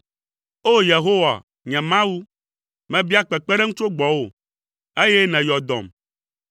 O! Yehowa, nye Mawu, mebia kpekpeɖeŋu tso gbɔwò, eye nèyɔ dɔm.